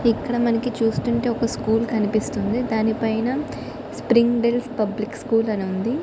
ఇక్కడ మనకి చూస్తుంటే ఒక స్కూల్ కనిపిస్తుంది. దాని పైన స్ప్రింగ్బెల్ పబ్లిక్ స్కూల్ అని ఉంది.